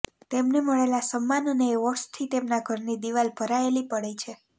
તેમને મળેલા સન્માન અને એવોર્ડસથી તેમના ઘરની દિવાલો ભરાયેલી પડી છે